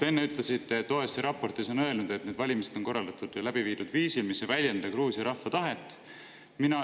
Te enne ütlesite, et OSCE raportis on öeldud, et need valimised on korraldatud ja läbi viidud viisil, mis ei väljenda Gruusia rahva tahet.